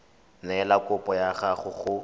neela kopo ya gago go